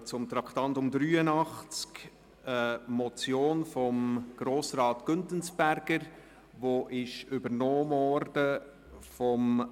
Wir kommen zum Traktandum 83, zu einer Motion von Grossrat Güntensperger, die von Grossrat Brönnimann übernommen worden ist.